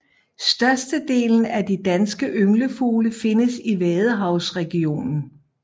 Størstedelen af de danske ynglefugle findes i vadehavsregionen